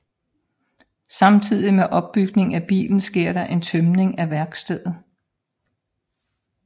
Samtidig med opbygningen af bilen sker der en tømning af værkstedet